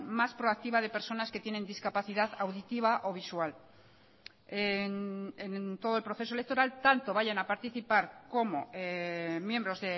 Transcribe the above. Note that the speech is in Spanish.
más proactiva de personas que tienen discapacidad auditiva o visual en todo el proceso electoral tanto vayan a participar como miembros